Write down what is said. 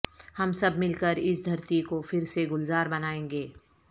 ہم سب مل کر اس دھرتی کو پھر سے گلزار بنائیں گے